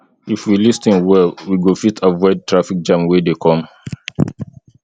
if we lis ten well we go fit avoid traffic jam wey dey come